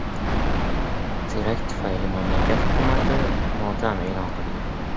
Terakt tufayli mamlakat hukumati motam e’lon qilgan.